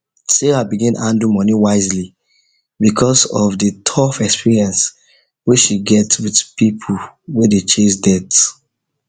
sarah begin handle money wisely because of the tough experience wey she get with people wey dey chase debt